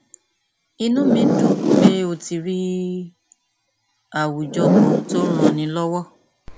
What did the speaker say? inú mi dùn pé o ti rí àwùjọ kan tó ń ranni lọwọ